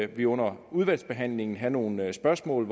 vi under udvalgsbehandlingen have nogle spørgsmål